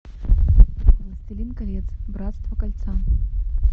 властелин колец братство кольца